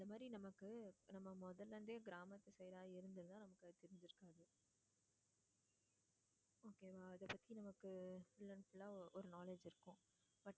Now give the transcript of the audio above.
அந்த மாதிரி நமக்கு நம்ம முதல்ல இருந்தே கிராமத்து side ஆ இருந்துருந்தா நமக்கு அது தெரிஞ்சுருக்காது. okay வா அதை பத்தி நமக்கு full and full ஆ ஒரு knowledge இருக்கும்.